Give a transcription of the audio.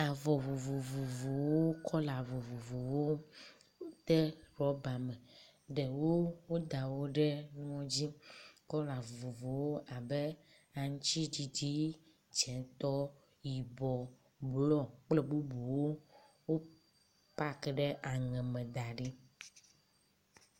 Avɔ vovovowo, kɔla vovovowo woda wo ɖe rɔba me, ɖewo woda wo ɖe kplɔ dzi, kɔla vovovowo abe aŋutiɖiɖi, dzetɔ, yibɔ, blɔ kple bubuwo. Wopak ɖe aŋe me da ɖi.